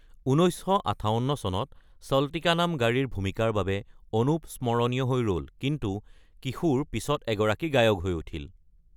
১৯৫৮ চনত চলতী কা নাম গাড়ী ৰ ভূমিকাৰ বাবে অনুপ স্মৰণীয় হৈ ৰ’ল, কিন্তু কিশোৰ পিছত এগৰাকী গায়ক হৈ উঠিল|